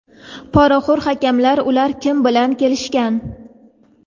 Poraxoʼr hakamlar: ular kim bilan kelishgan?.